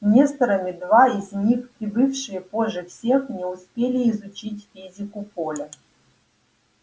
несторами два из них прибывшие позже всех не успели изучить физику поля